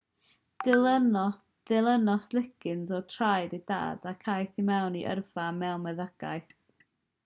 dilynodd liggins ôl traed ei dad ac aeth i mewn i yrfa mewn medddygaeth